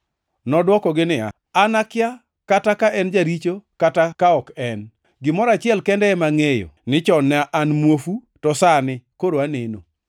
Nodwokogi niya, “An akia kata ka en jaricho kata ka ok en. Gimoro achiel kende ema angʼeyo: Ni chon ne an muofu, to sani koro aneno!”